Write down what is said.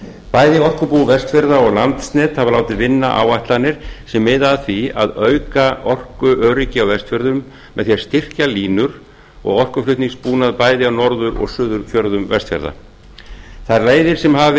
bæði orkubú vestfjarða og landsnet hafa látið vinna áætlanir sem miða að því að auka orkuöryggi á vestfjörðum með því að styrkja línur og orkuflutningsbúnað bæði á norður og suðurfjörðum vestfjarða þær leiðir sem hafa verið